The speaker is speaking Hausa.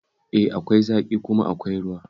E, akwai zaƙi kuma akwai ruwa